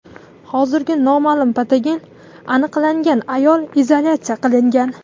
Hozir noma’lum patogen aniqlangan ayol izolyatsiya qilingan.